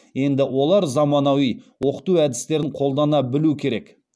енді олар заманауи оқыту әдістерін қолдана білуі керек